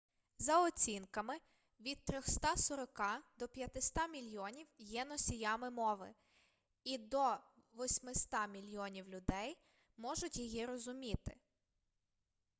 за оцінками від 340 до 500 мільйонів є носіями мови і до 800 мільйонів людей можуть її розуміти